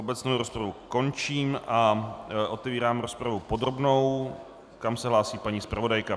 Obecnou rozpravu končím a otevírám rozpravu podrobnou, kam se hlásí paní zpravodajka.